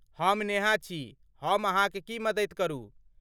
हम नेहा छी। हम अहाँक की मददि करू?